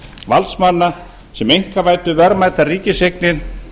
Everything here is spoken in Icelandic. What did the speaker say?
valdsmanna sem einkavæddu verðmætar ríkiseignir